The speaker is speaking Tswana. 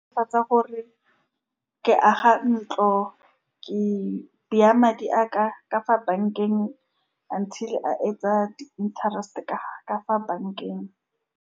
Netefatsa gore ke aga ntlo, ke bea madi a ka ka fa bank-eng, until a etsa di-interest-e ka-ka fa bankeng.